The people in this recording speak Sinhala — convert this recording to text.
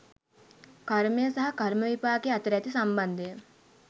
කර්මය සහ කර්ම විපාකය අතර ඇති සම්බන්ධය